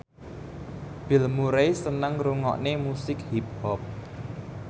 Bill Murray seneng ngrungokne musik hip hop